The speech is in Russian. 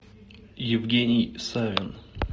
евгений савин